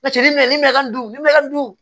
Laturu mɛn ni mɛ ni mɛ du